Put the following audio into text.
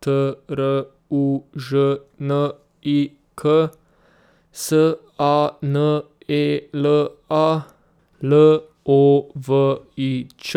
T R U Ž N I K; S A N E L A, L O V I Ć;